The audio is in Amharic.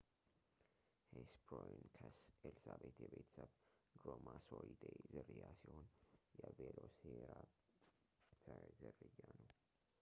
ሄስፐሮንይከስ ኤልዛቤት የቤተሰብ ድሮማሶሪዴ ዝርያ ሲሆን የ ቬሎሲራፕተር ዝርያ ነው